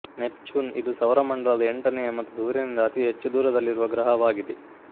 Neptune ಇದು ಸೌರಮಂಡಲದ ಎಂಟನೆಯ ಮತ್ತು ಸೂರ್ಯನಿಂದ ಅತಿ ಹೆಚ್ಚು ದೂರದಲ್ಲಿರುವ ಗ್ರಹವಾಗಿದೆ